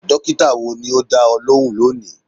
Dókítà wo ni o dá ọ lóhùn lónìí?